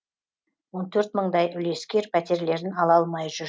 он төрт мыңдай үлескер пәтерлерін ала алмай жүр